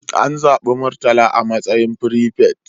An zabi Murtala a matsayin firifet.